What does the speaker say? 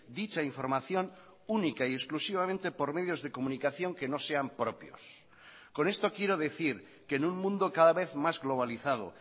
dicha información única y exclusivamente por medios de comunicación que no sean propios con esto quiero decir que en un mundo cada vez más globalizado